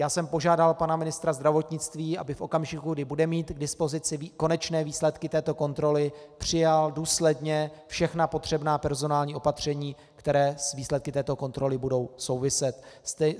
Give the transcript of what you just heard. Já jsem požádal pana ministra zdravotnictví, aby v okamžiku, kdy bude mít k dispozici konečné výsledky této kontroly, přijal důsledně všechna potřebná personální opatření, která s výsledky této kontroly budou souviset.